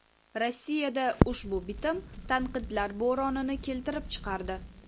Rossiyada ushbu bitim tanqidlar bo‘ronini keltirib chiqardi.